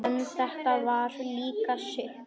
En þetta var líka sukk.